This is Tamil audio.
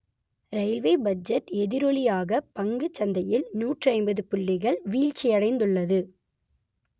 ரயில்வே பட்ஜெட் எதிரொலியாக பங்குச்சந்தையில் நூற்று ஐம்பது புள்ளிகள் வீழ்ச்சியடைந்துள்ளது